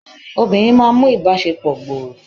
obìnrin ma n mu ibaṣepọ gbòrò